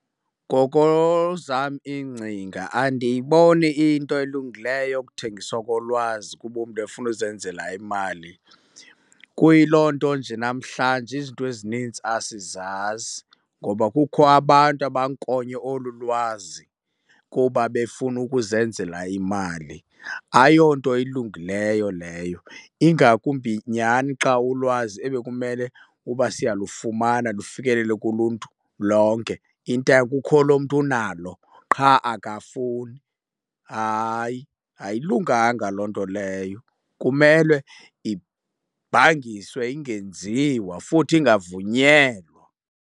Ngoko ezam iingcinga andiyiboni iyinto elungileyo yokuthengiswa kolwazi kuba umntu efuna uzenzela imali. Kuyiloo nto nje namhlanje izinto ezinintsi asizazi ngoba kukho abantu abankonye olu lwazi kuba befuna ukuzenzela imali. Ayonto ilungileyo leyo ingakumbi nyhani xa ulwazi ebekumele uba siyalufumana lufikelele kuluntu lonke, kukho loo mntu unaloo qha akafuni. Hayi, ayilunganga loo nto leyo. Kumele ibhangiswe ingenziwa futhi ingavunyelwa.